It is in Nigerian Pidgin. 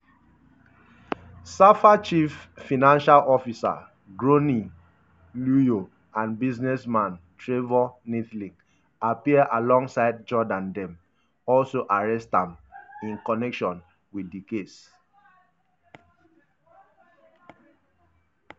safa chief financial officer gronie hluyo and businessman trevor neethling appear alongside jordaan dem also arrest am in connection wit di case.